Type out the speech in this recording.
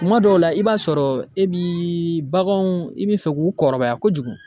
Kuma dɔw la, i b'a sɔrɔ e bi baganw i bi fɛ k'u kɔrɔbaya kojugu.